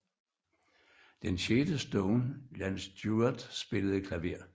Den sjette Stone Ian Stewart spillede klaver